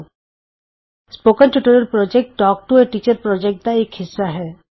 spoken tutorial project talk to a teacher project ਦਾ ਇਕ ਹਿੱਸਾ ਹੈ